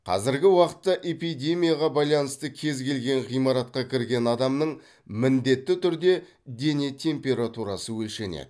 қазіргі уақытта эпидемияға байланысты кез келген ғимаратқа кірген адамның міндетті түрде дене температурасы өлшенеді